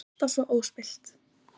Alltaf svo óspillt.